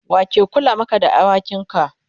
wake Kula Maka da awakin ka?